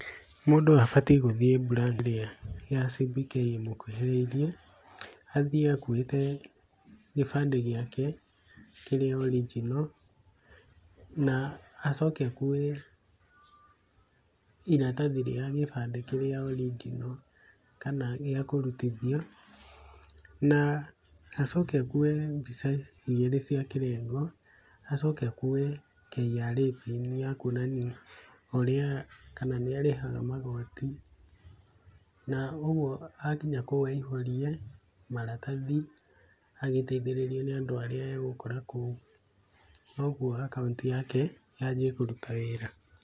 Mũndũ abatiĩ gũthiĩ branch ya CBK ĩrĩa ĩgũkuhĩrĩirie, athiĩ akuĩte gĩbande gĩake kĩrĩa original, na acoke akue iratathi rĩa gĩbande kĩrĩa original kana gĩakũrutithio, na acoke akue mbica igĩrĩ cia kĩrengo, acoke akue KRA pin ya kũonania ũrĩa kana nĩarĩhaga magoti, na ũguo akinya kũu aihũrie maratahi agĩteithĩrĩrio nĩ andũ arĩa egũkora kũu koguo akaunti yake yanjie kũruta wĩra.